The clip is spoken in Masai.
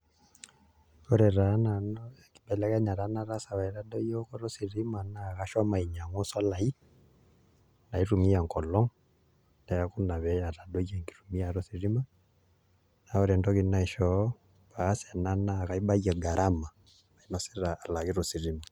Ore taa nanu enkibelekenyata nataasa peyie aitadoyio eokoto ositima naa kashomo ainyiang'u solaai naitumia enkolong', neeku ina pee etadoyie enkitumiata ositima naa ore entoki naishoo aas ena naa kaibayie garama nainosita alakita ositima.